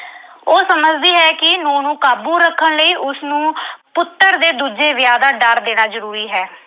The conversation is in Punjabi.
ਉਹ ਸਮਝਦੀ ਹੈ ਕਿ ਨੂੰਹ ਨੂੰ ਕਾਬੂ ਰੱਖਣ ਲਈ ਉਸਨੂੰ ਪੁੱਤਰ ਦੇ ਦੂਜੇ ਵਿਆਹ ਦਾ ਡਰ ਦੇਣਾ ਜ਼ਰੂਰੀ ਹੈ।